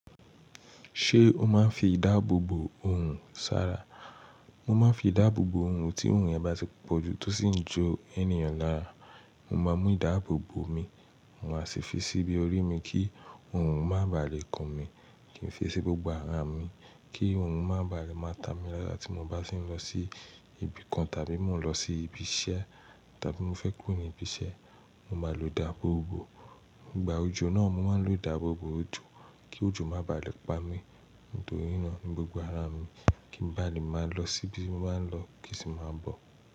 Ṣé o máa ń fi ìdáàbòbò ohùn ṣara? Mo máa ń fi ìdáàbòbò orùn, tí orùn yẹn bá ti pọ̀jù tó sì ń jó ẹ́niyan lára, mo máa mú ìdáàbòbò mi, mo máa sì fi síbi orí mi kí orùn má baà lè kàn mi. Kí n fi sí gbogbo ara mi kí orùn má bàa lè má ta mi lára tí mo bá ti ń lọ sí ibi kan tàbí mo lọ sí ibi iṣẹ́ tàbí mo fẹ́ kúrò ní ibi iṣẹ́, mo máa lò dáàbòbò. Ìgbà òjò náà, mo máa ń lò ìdáàbòbò òjò kí òjò má bàa lè pa mí nítorí náà ní gbogbo ara mi kí n bà lè má lọ síbi mo báa ń lọ kí sì má bọ̀.